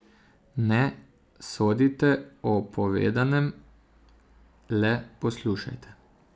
Ne sodite o povedanem, le poslušajte.